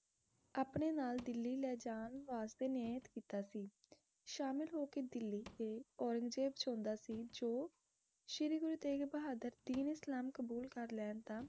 ਆਪਣੇ ਨਾਲ ਦਿਲੀ ਲੈ ਜਾਣ ਵਾਸਤੇ ਨੀਯਤ ਕੀਤਾ ਸੀ। ਸ਼ਾਮਿਲ ਹੋ ਕੇ ਦਿਲੀ ਤੇ ਔਰੰਗਜੇਬ ਚ ਹੁੰਦਾ ਸੀ ਜੋ ਸ਼੍ਰੀ ਗੁਰੂ ਤੇਗ਼ ਬਹਾਦਰ ਦੀਨ ਇਸਲਾਮ ਕਬੂਲ ਕਰ ਲੈਣ ਤਾ